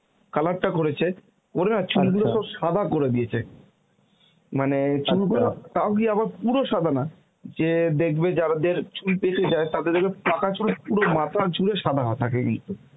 color টা করেছে ওর না চুলগুলোকে ও সাদা করে দিয়েছে. মানে চুল গুলো তাও কি আবার পুরো সাদা না যে দেখবে যারাদের চুল পেকে যায় তাদের যেমন পাকা চুল পুরো মাথার চুলে সাদা থাকে কিন্তু